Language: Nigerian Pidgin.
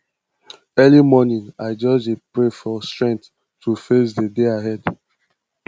early morning i just dey pray for strength to face di day ahead